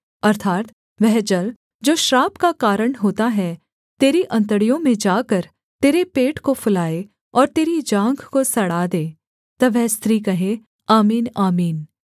अर्थात् वह जल जो श्राप का कारण होता है तेरी अंतड़ियों में जाकर तेरे पेट को फुलाए और तेरी जाँघ को सड़ा दे तब वह स्त्री कहे आमीन आमीन